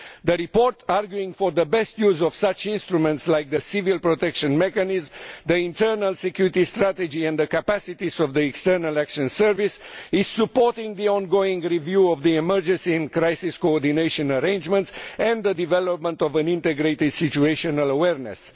The report, arguing for the best use of such instruments like the civil protection mechanism, the internal security strategy and the capacities of the External Action Service, supports the ongoing review of the emergency and crisis coordination arrangement and the development of an integrated situational awareness.